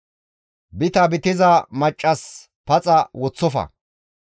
«Bita bitiza maccas paxa woththofa.